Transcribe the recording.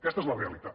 aquesta és la realitat